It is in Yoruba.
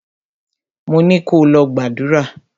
Mo ni kò lọ gbàdúrà!